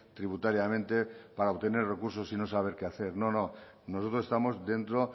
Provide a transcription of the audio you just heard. tributariamente para obtener recursos y no saber qué hacer no no nosotros estamos dentro